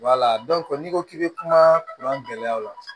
n'i ko k'i bɛ kumakan gɛlɛyaw la